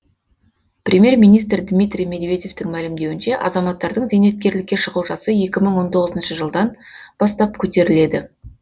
премьер министр дмитрий медведевтің мәлімдеуінше азаматтардың зейнеткерлікке шығу жасы екі мың он тоғызыншы жылдан бастап көтеріледі